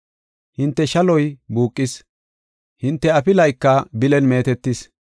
Hinte shaloy buuqis; hinte afilayka bilan meetetis.